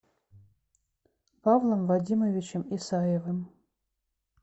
павлом вадимовичем исаевым